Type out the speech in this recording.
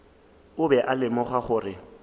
o be a lemogile gore